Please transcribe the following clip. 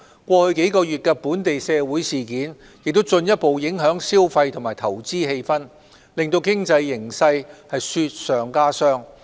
過去數月的本地社會事件也進一步影響消費及投資氣氛，令經濟形勢雪上加霜。